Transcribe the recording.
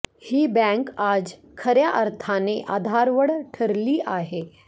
ही bank आज खऱ्या अर्थाने आधारवड ठरली आहे